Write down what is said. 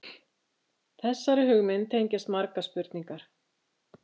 Þessari hugmynd tengjast margar spurningar.